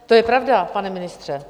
To je pravda, pane ministře.